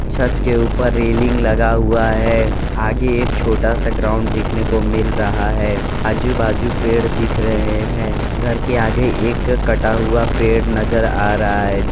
छत के ऊपर रेलिंग लगा हुआ है आगे एक छोटा सा ग्राउंड देखने को मिल रहा है आजू बाजू पेड़ दिख रहे हैं घर के आगे एक कटा हुआ पेड़ नजर आ रहा है।